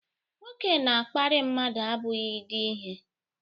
nwoke na-akparị mmadụ abụghị di ihe